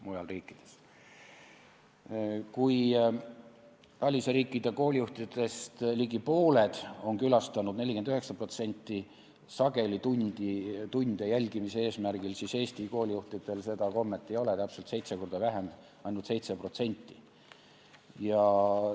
Kui TALIS-e järgi on koolijuhtidest ligi pooled, 49%, külastanud sageli tunde jälgimise eesmärgil, siis Eesti koolijuhtidel seda kommet ei ole või on täpselt seitse korda vähem, seda teeb ainult 7%.